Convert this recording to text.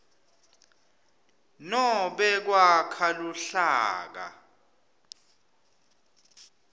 nobe kwakha luhlaka